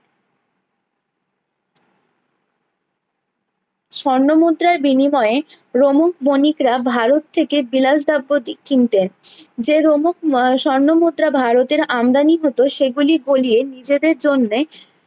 স্বর্ণ মুদ্রার বিনিময়ে রোমক বণিকরা ভারত থেকে বিলাস দ্রোবটি কিনতেন যে রোমক আহ স্বর্ণ মুদ্রা ভারতে আমদানি হতো সে গুলি গলিয়ে নিজেদের জন্য